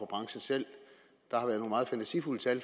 branchen selv der har været nogle meget fantasifulde tal